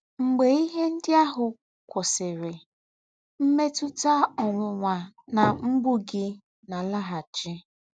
Mgbē íhè ndí́ àhụ́ kwụ̀sị̀rì, mmètụ̀tà ọ̀nwụ́nwà nà mgbụ̀ gị̀ nà-àlágháchị́.